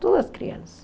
Todas as crianças.